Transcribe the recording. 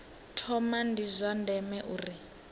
thoma ndi zwa ndeme uri